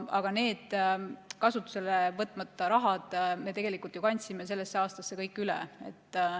Aga selle kasutusele võtmata raha me tegelikult ju kandsime sellesse aastasse üle.